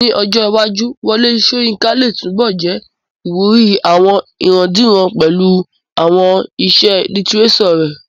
Ní ọjọ́ iwájú, Wọlé Sóyinká lè túnbọ̀ jẹ́ ìwúrí àwọn ìrandíran pẹ̀lú àwọn àwọn iṣẹ́ lítírésọ̀ rẹ̀